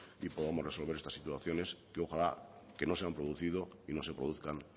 y podamos resolver estas situaciones que ojalá que no se han producido y no se produzcan